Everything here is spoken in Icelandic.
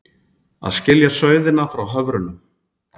Að skilja sauðina frá höfrunum